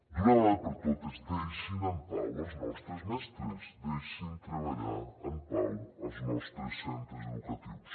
d’una vegada per totes deixin en pau els nostres mestres deixin treballar en pau els nostres centres educatius